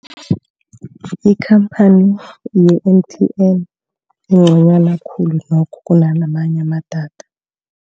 Ikhamphani ye-M_T_N ingconywana khulu nokho kunamanye amadatha.